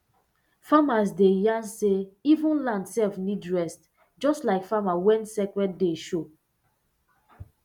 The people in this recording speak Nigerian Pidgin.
elders dey yarn say even land sef need rest just like farmer when sacred day show